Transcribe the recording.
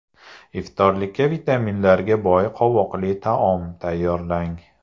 Iftorlikka vitaminlarga boy qovoqli taom tayyorlang.